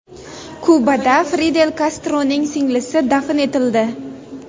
Kubada Fidel Kastroning singlisi dafn etildi.